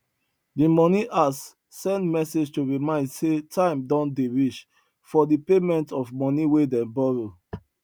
the money house send message to remind say time don dey reach for the payment of money wey dem borrow